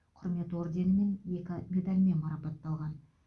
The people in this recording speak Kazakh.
құрмет орденімен екі медальмен марапатталған